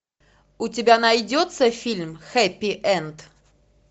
у тебя найдется фильм хэппи энд